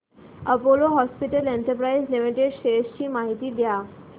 Apollo hospitals enterprise limited shares ची माहिती द्या